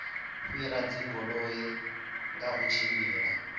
fhira dzigoloi kha u tshimbila